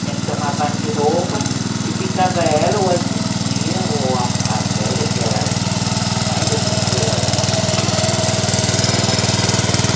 Tinha que tomar banho de roupa e ficava ela ou a titia ou a a velha, que era a mãe da titia, a dona Machica, ficava nos vigiando.